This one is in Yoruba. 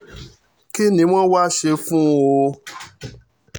kín ni wọ́n wáá ṣe fún un o